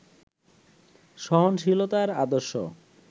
সহনশীলতার আদর্শ